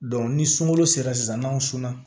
ni sunkalo sera sisan n'aw